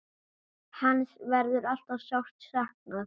Hans verður alltaf sárt saknað.